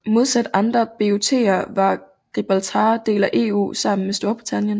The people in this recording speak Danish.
Modsat andre BOTer var Gibraltar del af EU sammen med Storbritannien